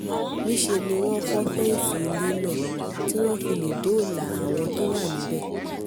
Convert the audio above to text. níṣẹ́ ni wọ́n fọ́ fẹ́ǹsì ilé náà tí wọ́n fi lè dóòlà àwọn tó wà níbẹ̀